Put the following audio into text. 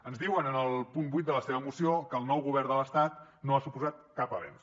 ens diuen en el punt vuit de la seva moció que el nou govern de l’estat no ha suposat cap avenç